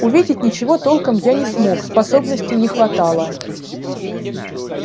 увидеть ничего толком я не смог способностей не хватало